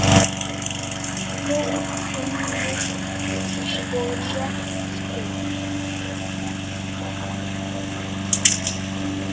Góð tónlist og létt spjall.